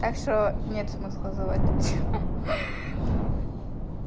так что нет смысла заводить